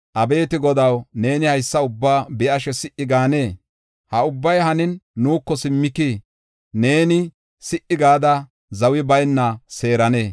Abeeti Godaw, neeni haysa ubbaa be7ashe si77i gaanee? ha ubbay hanin, nuuko simmikii? Neeni si77i gada zawi bayna seeranee?